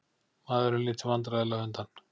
Maðurinn lítur vandræðalega undan.